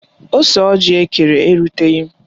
Ose ọjị ha kere eruteghi m